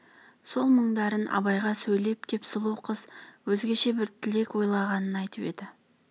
сол мұңдарын абайға сөйлеп кеп сұлу қыз өзгеше бір тілек ойлағанын айтып еді